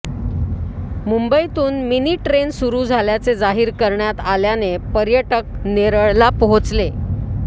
मुंबईतून mini train सुरू झाल्याचे जाहीर करण्यात आल्याने पर्यटक नेरळला पोहोचले